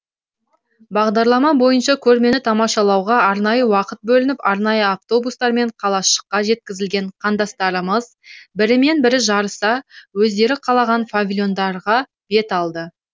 бағдарлама бойынша көрмені тамашалауға арнайы уақыт бөлініп арнайы автобустармен қалашыққа жеткізілген қандастарымыз бірімен бірі жарыса өздері қалаған павильондарға бет алды